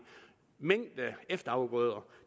mængde efterafgrøder